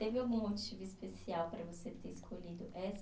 Teve algum motivo especial para você ter escolhido essa